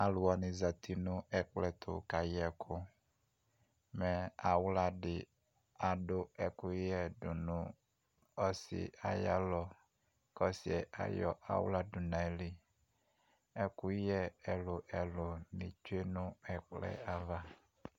Alʋ wanɩ zati nʋ ɛkplɔ ɛtʋ kayɛ ɛkʋ, mɛ aɣla dɩ adʋ ɛkʋyɛ nʋ ɔsɩa yalɔ kʋ ɔsɩ ayɔ aɣla dʋ nʋ ayili Ɛkʋyɛ ɛlʋ-ɛlʋ bɩ tsue nʋ ɛkplɔ yɛ ava